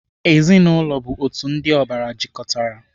Ezinaụlọ bụ otu ndị ọbara jikọtara.